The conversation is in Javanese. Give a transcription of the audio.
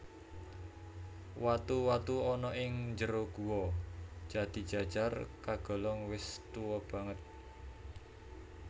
Watu watu ana ing njero Guwa Jatijajar kagolong wis tuwa banget